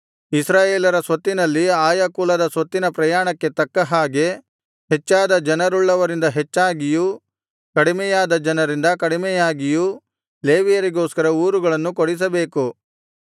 ಇಸ್ರಾಯೇಲರ ಸ್ವತ್ತಿನಲ್ಲಿ ಆಯಾ ಕುಲದ ಸ್ವತ್ತಿನ ಪ್ರಮಾಣಕ್ಕೆ ತಕ್ಕ ಹಾಗೆ ಹೆಚ್ಚಾದ ಜನರುಳ್ಳವರಿಂದ ಹೆಚ್ಚಾಗಿಯೂ ಕಡಿಮೆಯಾದ ಜನರಿಂದ ಕಡಿಮೆಯಾಗಿಯೂ ಲೇವಿಯರಿಗೋಸ್ಕರ ಊರುಗಳನ್ನು ಕೊಡಿಸಬೇಕು